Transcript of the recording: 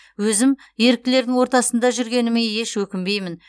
өзім еріктілердің ортасында жүргеніме еш өкінбеймін